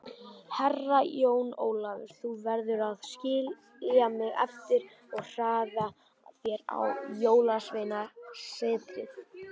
Herra Jón Ólafur, þú verður að skilja mig eftir og hraða þér á Jólasveinasetrið.